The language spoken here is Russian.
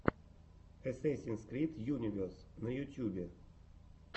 эсэсинс крид юнивес на ютьюбе